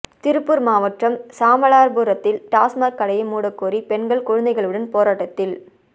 திருப்பூர் மாவட்டம் சாமாளபுரத்தில் டாஸ்மாக் கடையை மூடக்கோரி பெண்கள் குழந்தைகளுடன் போராட்டத்தில்